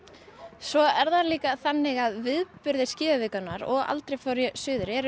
svo er það líka þannig að viðburðir skíðavikunnar og aldrei fór ég suður eru